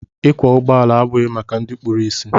Ịkwọ ụgbọala abụghị maka ndị kpụrụ isi.